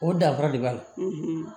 O danfara de b'a la